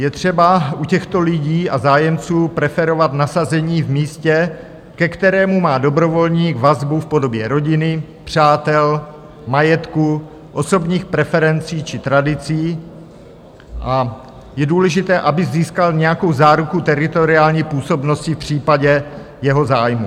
Je třeba u těchto lidí a zájemců preferovat nasazení v místě, ke kterému má dobrovolník vazbu v podobě rodiny, přátel, majetku, osobních preferencí či tradicí, a je důležité, aby získal nějakou záruku teritoriální působnosti v případě jeho zájmu.